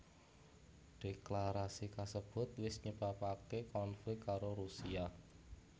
Dhéklarasi kasebut wis nyebabaké konflik karo Rusia